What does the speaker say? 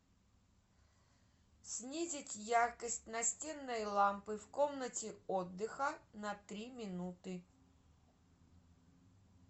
снизить яркость настенной лампы в комнате отдыха на три минуты